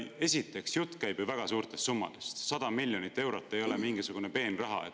Esiteks, jutt käib väga suurtest summadest – 100 miljonit eurot ei ole mingisugune peenraha.